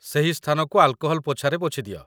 ସେହି ସ୍ଥାନକୁ ଆଲ୍‌କୋହଲ୍ ପୋଛାରେ ପୋଛିଦିଅ